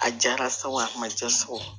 A jara sa o a ma ja so kɔnɔ